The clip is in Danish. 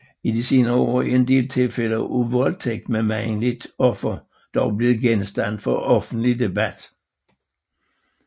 I de senere år er en del tilfælde af voldtægt med mandligt offer dog blevet genstand for offentlig debat